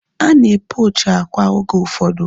Ana e pochi akwa oge ụfọdụ